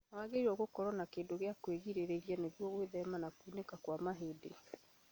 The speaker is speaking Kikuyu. Nĩwagĩrĩirwo nĩ gũkorwo na kĩndũ gĩa kwĩrigĩrĩria nĩguo gwĩthema na kunĩka kwa mahĩndĩ